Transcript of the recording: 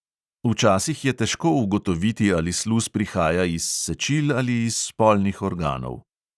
Včasih je težko ugotoviti, ali sluz prihaja iz sečil ali iz spolnih organov.